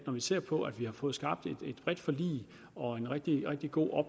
ser på at vi har fået skabt et bredt forlig og en rigtig rigtig god og